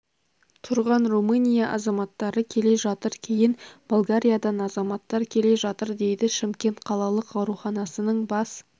тұрған румыния азаматары келе жатыр кейін болгариядан азаматтар келе жатыр дейді шымкент қалалық ауруханасының бас